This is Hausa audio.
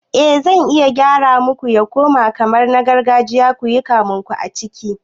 Eh zan iya gyara muku ya koma kamar na gargajiya kuyi kamunku a ciki